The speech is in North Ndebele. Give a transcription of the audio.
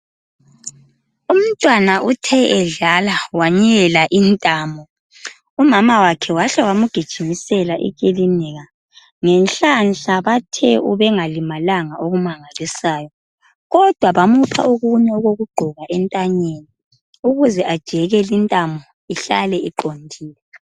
Umntwana uthe edlala wanyela intamo umama wakhe wahle wamugijimisela ekilinika ngenhlanhla bathe ubengalimalanga okumangalisayo kodwa bamupha okunye okokugqoka entanyeni ukuze ajeke lintamo ihlale iqondile.